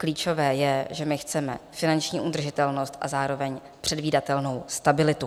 Klíčové je, že my chceme finanční udržitelnost a zároveň předvídatelnou stabilitu.